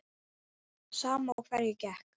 Sama á hverju gekk.